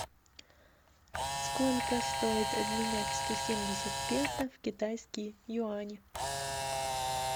сколько стоит обменять сто семьдесят песо в китайские юани